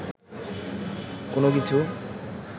কোন কিছু